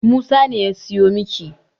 Musa ne ya siyo miki.